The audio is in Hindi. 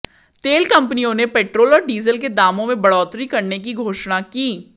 तेल कंपनियों ने पेट्रोल और डीजल के दामों में बढ़ोत्तरी करने की घोषणा की